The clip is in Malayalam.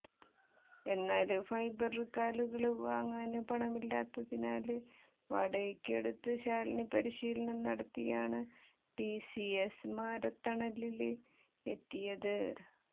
എന്നാല് ഫൈബര് കാലുകള് വാങ്ങാന് പണമില്ലാത്തതിനാല് വാടകയ്ക്കെടുത്ത് ശാലിനി പരിശീലനം നടത്തിയാണ് ടിസിഎസ് മാരത്തണില് എത്തിയത്